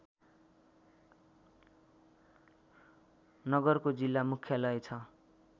नगरको जिल्ला मुख्यालय छ